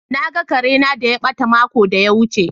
Na gan Kare na da ya bata makon da ya wuce.